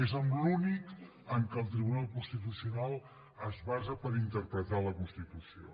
és l’únic en què el tribunal constitucional es basa per interpretar la constitució